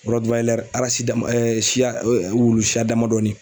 siya wulu siya damani